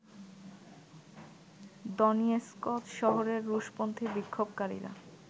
Donetsk শহরের রুশপন্থী বিক্ষোভকারীরা